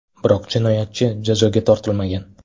Biroq jinoyatchi jazoga tortilmagan.